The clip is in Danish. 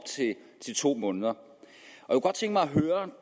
til to måneder